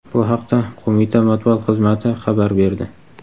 Bu haqda Qo‘mita matbuot xizmati xabar berdi.